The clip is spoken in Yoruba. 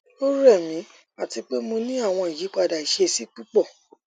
o rẹ mi ati pe mo ni awọn iyipada iṣesi pupọ